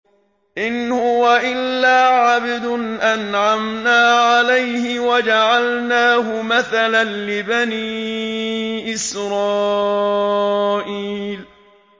إِنْ هُوَ إِلَّا عَبْدٌ أَنْعَمْنَا عَلَيْهِ وَجَعَلْنَاهُ مَثَلًا لِّبَنِي إِسْرَائِيلَ